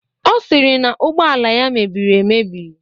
Ọ sịrị na ugbọala ya mebiri emebi